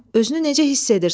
Özünü necə hiss edirsən?